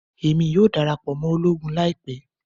Emi yoo darapọ mọ ologun laipẹ